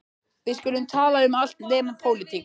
Við skulum tala um allt nema pólitík.